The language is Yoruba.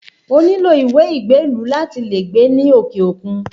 O nílò ìwé ìgbélú láti lè gbé ní òkè òkun